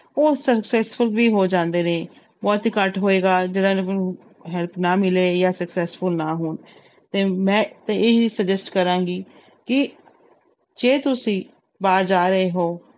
ਉਹ successful ਵੀ ਹੋ ਜਾਂਦੇ ਨੇ ਬਹੁਤ ਹੀ ਘੱਟ ਹੋਏਗਾ ਜਿਹਨਾਂ ਨੂੰ help ਨਾ ਮਿਲੇ ਜਾਂ successful ਨਾ ਹੋਣ ਤੇ ਮੈਂ ਤਾਂ ਇਹੀ suggest ਕਰਾਂਗੀ ਕਿ ਜੇ ਤੁਸੀਂ ਬਾਹਰ ਜਾ ਰਹੇ ਹੋ